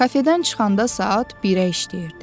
Kafedən çıxanda saat 1-ə işləyirdi.